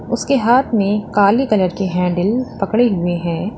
उसके हाथ में काले कलर की हैंडल पकड़े हुए हैं।